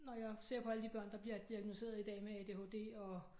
Når jeg ser på alle de børn der bliver diagnosticeret i dag med ADHD og